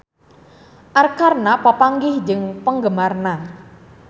Arkarna papanggih jeung penggemarna